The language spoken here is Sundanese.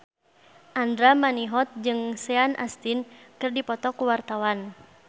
Andra Manihot jeung Sean Astin keur dipoto ku wartawan